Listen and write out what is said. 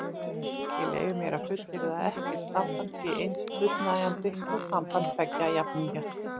Ég leyfi mér að fullyrða að ekkert samband sé eins fullnægjandi og samband tveggja jafningja.